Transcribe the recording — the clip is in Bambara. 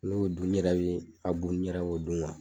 N'o dun yɛrɛ ye abu yɛrɛ o dun wa